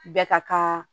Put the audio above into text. Bɛɛ ka kan